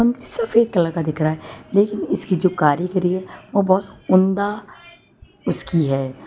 सफेद कलर का दिख रहा है लेकिन इसकी जो कारीगिरी है वो बहुत उमदा उसकी है।